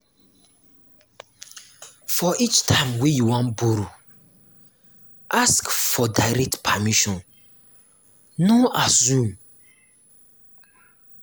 for each time wey you wan borrow ask for direct permission no assume